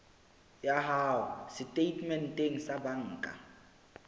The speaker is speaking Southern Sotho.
ya hao setatementeng sa banka